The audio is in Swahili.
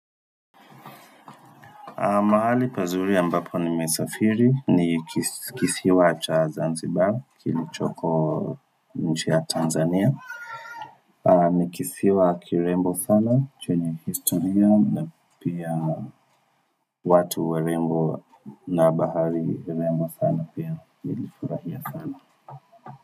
Mahali pazuri ambapo ni mesafiri ni kisiwa cha zanzibar kilichoko nchi ya tanzania ni kisiwa kirembo sana chenye historia na pia watu warembo na bahari rembo sana pia nilifurahia sana.